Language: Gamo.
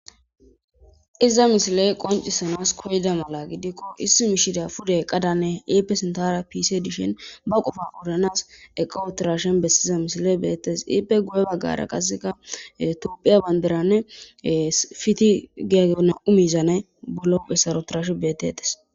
Iza misilee qonccissanas koyida mala gidikko issi mishiriyaa pude eqqadanne ippe sinththaara piisee dishin ba qofaa odanaas eqqa uththiraashen bessiza misilee beeththes;ippe guye baggara qassika toophphiya banddiraanne fithih giyagee naa7u miizanay bolla huuphessara uththaashen beeththeeththes.